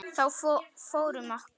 Þá fór um okkur.